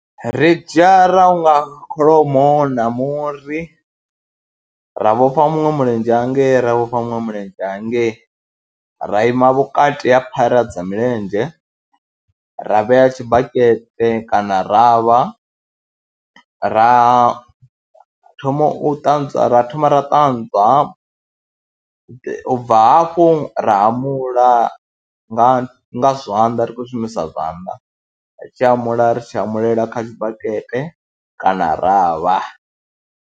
Ri dzhia ra hunga kholomo na muri ra vhofha muṅwe mulenzhe hangei, ra vhofha muṅwe mulenzhe hangei, ra ima vhukati ha phara dza milenzhe ra vhea tshibakete kana ravha, ra thoma u ṱanzwa, ra thoma ra ṱanzwa, u bva hafho ra hamula nga nga zwanḓa ri khou shumisa zwanḓa, ri tshi hamula ri tshi hamulela kha tshibakete kana ravha.